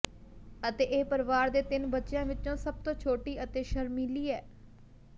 ਅਤੇ ਇਹ ਪਰਿਵਾਰ ਦੇ ਤਿੰਨ ਬੱਚਿਆਂ ਵਿੱਚੋਂ ਸਭ ਤੋਂ ਛੋਟੀ ਅਤੇ ਸ਼ਰਮੀਲੀ ਹੈ